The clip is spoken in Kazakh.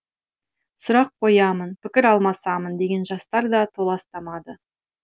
сұрақ қоямын пікір алмасамын деген жастар да толастамады